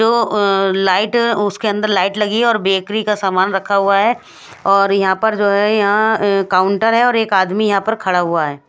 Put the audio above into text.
दो अ- लाइट अ- उसके अन्दर लाइट लगी है और बेकरी का सामान रखा हुआ है और यहाँ पर जो है यहाँ काउंटर है और एक आदमी यहाँ पर खड़ा हुआ है।